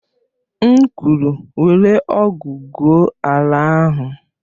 M kwuru, were ọ̀gu gwụo ala ahụ!